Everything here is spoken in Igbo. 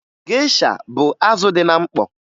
Gesha bụ azụ dị na mkpọ